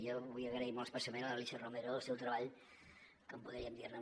jo vull agrair molt especialment a l’alícia romero el seu treball que podríem dir ne